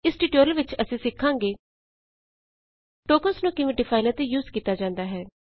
ਇਸ ਟਯੂਟੋਰੀਅਲ ਵਿਚ ਅਸੀਂ ਸਿਖਾਂਗੇ ਟੋਕਨਸ ਨੂੰ ਕਿਵੇਂ ਡਿਫਾਈਨ ਅਤੇ ਯੂਜ਼ ਕੀਤਾ ਜਾਂਦਾ ਹੈ